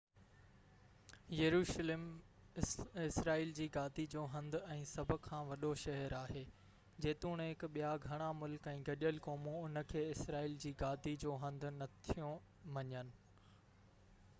يروشلم اسرائيل جي گادي جو هنڌ ۽ سڀ کان وڏو شهر آهي جيتوڻڪ ٻيا گهڻا ملڪ ۽ گڏيل قومون ان کي اسرائيل جي گادي جو هنڌ نٿيون مڃن